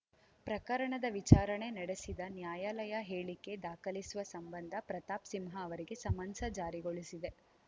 ಪ್ರಕರಣದ ವಿಚಾರಣೆ ನಡೆಸಿದ ನ್ಯಾಯಾಲಯ ಹೇಳಿಕೆ ದಾಖಲಿಸುವ ಸಂಬಂಧ ಪ್ರತಾಪ್‌ ಸಿಂಹ ಅವರಿಗೆ ಸಮನ್ಸ್‌ ಜಾರಿಗೊಳಿಸಿದೆ